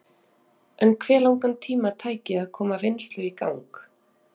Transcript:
En hve langan tíma tæki að koma vinnslu í gang?